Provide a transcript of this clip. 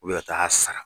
U bɛ taa sara